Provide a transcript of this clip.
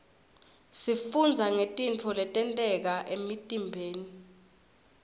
sifundza ngetintfo letenteka emtiimbeni